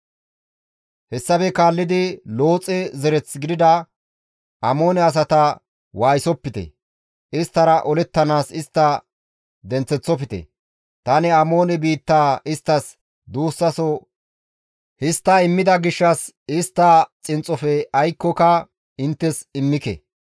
Hessafe kaallidi Looxe zereth gidida Amoone asata waayisopite; isttara olettanaas istta denththeththofte; tani Amoone biittaa isttas duussaso histta immida gishshas istta xinxxofe aykkoka inttes immike.»